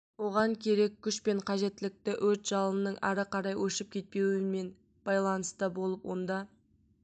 оған керек күш пен қажеттілікті өрт жалының ары қарай өршіп кетпеуіне мен байланыста болып онда